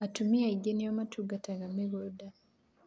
Atũmia aingĩ nĩ o matungataga mĩgũnda